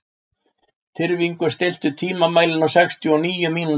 Tyrfingur, stilltu tímamælinn á sextíu og níu mínútur.